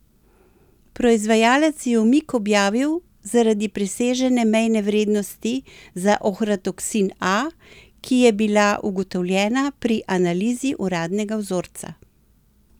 Proizvajalec je umik objavil zaradi presežene mejne vrednosti za ohratoksin A, ki je bila ugotovljena pri analizi uradnega vzorca.